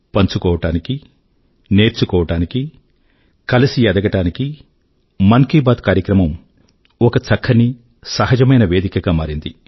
పంచుకోవడానికీ నేర్చుకోవడానికీ కలిసి ఎదగడానికీ మన్ కీ బాత్ కార్యక్రమం ఒక చక్కని సహజమైన వేదిక గా మారింది